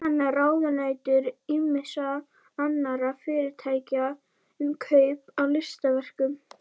Hann er ráðunautur ýmissa annarra fyrirtækja um kaup á listaverkum.